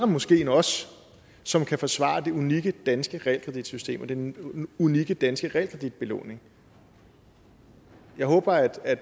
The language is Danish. måske os som kan forsvare det unikke danske realkreditsystem og den unikke danske realkreditbelåning jeg håber at